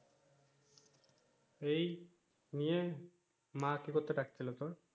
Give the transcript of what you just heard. এই নিয়ে মা কি করতে ডাকছিলো তোর?